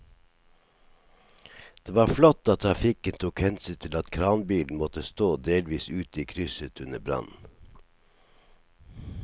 Det var flott at trafikken tok hensyn til at kranbilen måtte stå delvis ute i krysset under brannen.